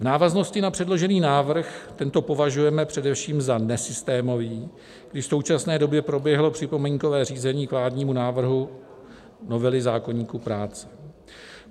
V návaznosti na předložený návrh tento považujeme především za nesystémový, kdy v současné době proběhlo připomínkové řízení k vládnímu návrhu novely zákoníku práce.